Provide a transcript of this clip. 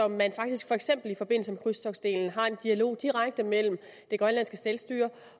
man faktisk for eksempel i forbindelse med krydstogtsdelen har en dialog direkte mellem det grønlandske selvstyre